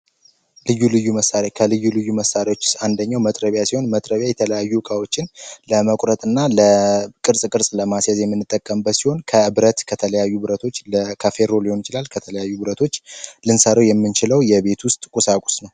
ልዩ መሳሪያ ከልዩ ልዩ መሳሪያዎች አንደኛው መጥረቢያ ሲሆን የተለያዩ ከዎችን ለመቁረጥና ለቅርስ የምንጠቀምበት ከብረት ከተለያዩ ብረቶች ለካፌ ሊሆን ይችላል ከተለያዩ ውብረቶች ልንሰሩ የምንችለው የቤት ውስጥ ቁሳቁስ ነው